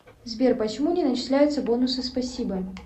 сбер почему не начисляется бонусы спасибо